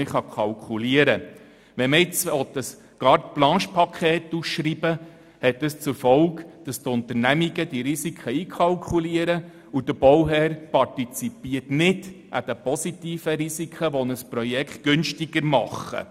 Will man ein Carte-blanchePaket ausschreiben, hat dies zur Folge, dass die Unternehmungen die Risiken einkalkulieren, sodass der Bauherr nicht an den positiven Risiken partizipiert, welche ein Projekt günstiger machen.